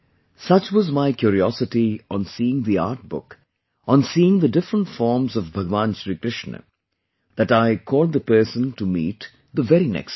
Such was my curiosity on seeing the artbook, on seeing the different forms of Bhagwan Shri Krishna that I called the person to meet the very next day